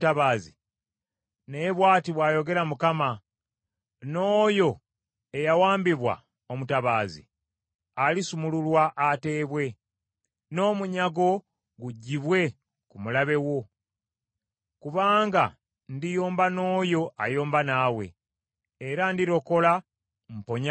Naye bw’ati bw’ayogera Mukama : “N’oyo eyawambibwa omutabaazi alisumululwa ateebwe, n’omunyago guggyibwe ku mulabe wo, kubanga ndiyomba n’oyo ayomba naawe, era ndirokola mponye abaana bo.